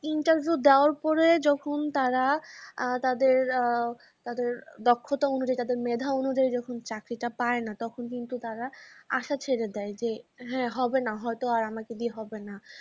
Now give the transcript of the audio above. interview দেওয়ার পরে যখন তারা আ তাদের আ তাদের দক্ষ্মতা অনুযাই তাদের মেধা অনুযাই যখন চাকরি টা পায়না তখন কিন্তু তারা আশা ছেড়ে দেয় যে হ্যা হবেনা হইত ও আর আমাকে দিয়ে হবেনা।